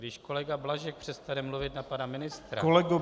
Když kolega Blažek přestane mluvit na pana ministra...